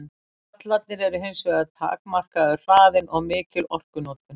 Gallarnir eru hins vegar takmarkaður hraðinn og mikil orkunotkun.